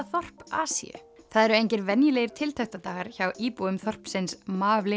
þorp Asíu það eru engir venjulegir hjá íbúum þorpsins